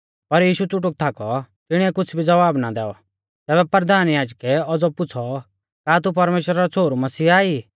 पर यीशु च़ुटुक थाकौ तिणिऐ कुछ़ भी ज़वाब ना दैऔ तैबै परधान याजकै औज़ौ पुछ़ौ का तू परमेश्‍वरा रौ छ़ोहरु मसीहा ई